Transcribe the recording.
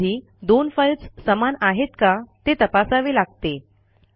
कधीकधी दोन फाईल्स समान आहेत का ते तपासावे लागते